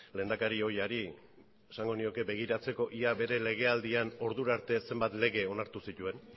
lehendakari ohiari esango nioke begiratzeko ia bere legealdian ordurarte zenbat lege onartu zituen